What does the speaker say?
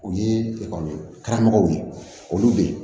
U ye karamɔgɔw ye olu bɛ ye